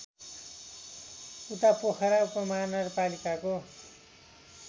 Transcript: उता पोखरा उपमहानगरपालिकाको